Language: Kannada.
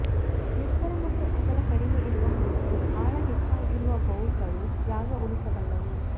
ಎತ್ತರ ಮತ್ತು ಅಗಲ ಕಡಿಮೆ ಇರುವ ಹಾಗೂ ಆಳ ಹೆಚ್ಚಾಗಿರುವ ಬೌಲ್ಗಳು ಜಾಗ ಉಳಿಸಬಲ್ಲವು